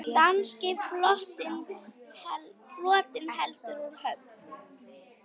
Danski flotinn heldur úr höfn!